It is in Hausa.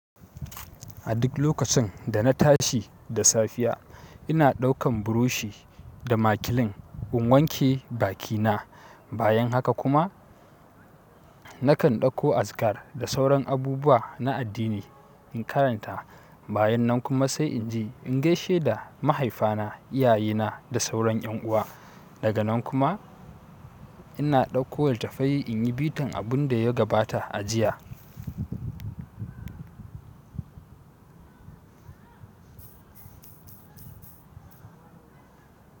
A duk lokacin da na tashi da safiya, ina ɗaukan burushi da makilin in wanke bakina. Bayan haka kuma nakan ɗauko azkar da sauran abubuwa na addini in karanta. Bayan nan kuma sai in je in gaishe da mahaifana, iyayena da sauran yan uwa. Daga nan kuma ina ɗauko littafai in yi bitan abun da ya gabata a jiya.